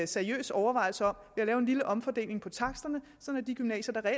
seriøs overvejelse om at ved at lave en lille omfordeling på taksterne sådan at de gymnasier der